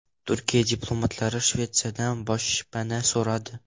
Turkiya diplomatlari Shveysariyadan boshpana so‘radi.